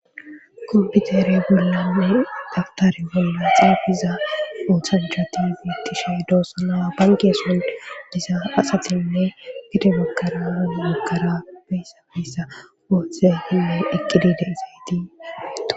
Kompitere gollawe daftare bolla xeefiza oothanchati biittishe doosa naa banke son diza asatinne gidemakaramakara beyssa feyssa woothe hilay eqqidi deezayti